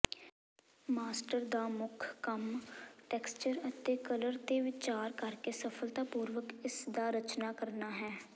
master ਦਾ ਮੁੱਖ ਕੰਮ ਟੈਕਸਟਚਰ ਅਤੇ ਕਲਰ ਤੇ ਵਿਚਾਰ ਕਰਕੇ ਸਫਲਤਾਪੂਰਵਕ ਇਸਦਾ ਰਚਨਾ ਕਰਨਾ ਹੈ